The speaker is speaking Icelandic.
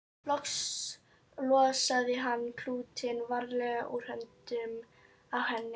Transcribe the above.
Loks losaði hann klútinn varlega úr höndunum á henni.